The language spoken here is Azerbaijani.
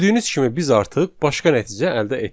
Gördüyünüz kimi biz artıq başqa nəticə əldə etdik.